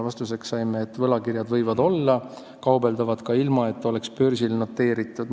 Vastuseks saime, et võlakirjadega võib kaubelda, ilma et need oleks börsil noteeritud.